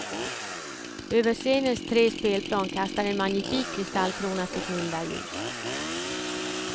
Över scenens tre spelplan kastar en magnifik kristallkrona sitt milda ljus.